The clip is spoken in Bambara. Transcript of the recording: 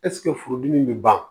Ɛseke furudimi bɛ ban